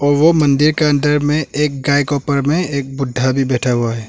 ओ मंदिर के अंदर में एक गाय ऊपर में एक बुड्ढा भी बैठा हुआ है।